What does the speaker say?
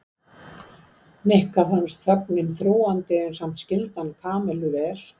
Nikka fannst þögnin þrúgandi en samt skyldi hann Kamillu mæta vel.